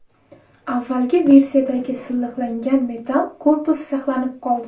Avvalgi versiyadagi silliqlangan metal korpus saqlanib qoldi.